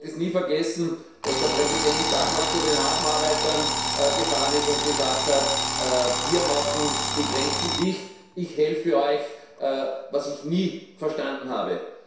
Ich werde es nie vergessen, dass der Präsident damals zu den Hafenarbeitern gefahren ist und gesagt hat Wir machen die Grenzen dicht, ich helfe euch was ich nie verstanden habe.